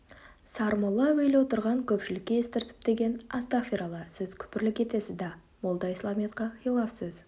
сармолла әуелі отырған көпшілікке естіртіп деген астағфиралла сіз күпірлік етесіз да молда исламиятқа хилаф сөз